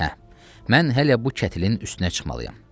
Hə, mən hələ bu kətlin üstünə çıxmalıyam.